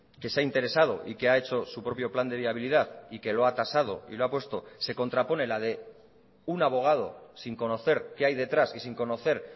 que se ha interesado y que ha hecho su propio plan de viabilidad y que lo ha tasado y lo ha puesto se contrapone la de un abogado sin conocer qué hay detrás y sin conocer